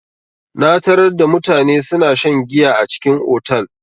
Na tarar da mutane suna shan giya a cikin otal.